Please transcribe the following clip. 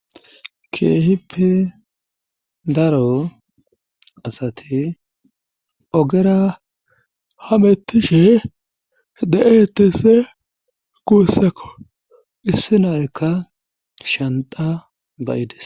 keehippe daro asati ogera hamettishe de7etese guussakko issi naykka shanda bayides